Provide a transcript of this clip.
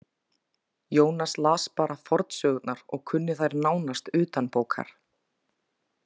Jónas las bara fornsögurnar og kunni þær nánast utanbókar.